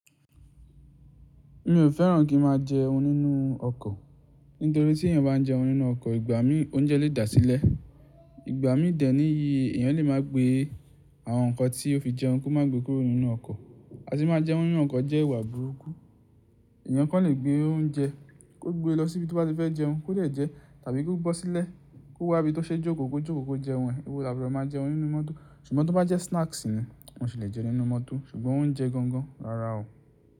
Mi ò fẹ́ràn kí n máa jẹun nínú ọkọ̀. Nítorí tí èèyàn bá ń jẹun nínú ọkọ̀, ìgbà mí, oúnjẹ lè dà sílẹ̀. Ìgbà mí dẹ̀ ní iyì, èèyàn lè má gbé àwọn nǹkan tí ó fi jẹun kó má gbé kúrò nínú ọkọ̀. A tì máa jẹun nínú ọkọ̀ jẹ́ ìwà burúkú. Èèyàn kàn lè gbé óúnjẹ, kó gbé lọ síbi tí ó bá fẹ́ jẹun kó dè jẹ, tàbí ki o bọ́ sílẹ̀ kó wá ibi tó ṣe jókòó, kó jókòó kó jẹun. Èwo lá bu ro máa jẹun nínú mọ́tò. Ṣùgbọ́n tí o bá jẹ́ snacks ni, mo sì lè jẹ nínú mọ́tò, ṣùgbọ́n oúnjẹ gangan, rárá o.